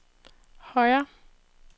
højre